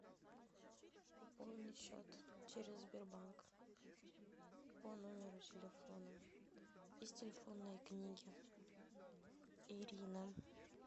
пополнить счет через сбербанк по номеру телефона из телефонной книги ирина